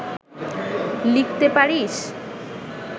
লিখতে পারিস